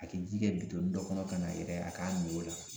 A ke ji kɛ bitɔnni dɔ kɔnɔ ka n'a yɛrɛ ye a k'a mi o la